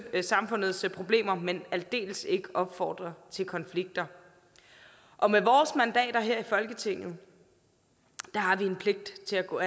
samfundets problemer men aldeles ikke opfordre til konflikter og med vores mandater her i folketinget har vi en pligt til at gå